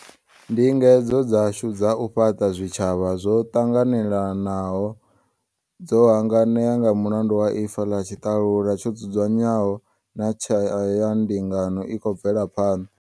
Ndingedzo dzashu dza u fhaṱa zwitshavha zwo ṱanganelaho dzo hanganea nga mulandu wa ifa ḽa tshiṱalula tsho dzudzanywaho na tshayandingano i khou bvelaho phanḓa.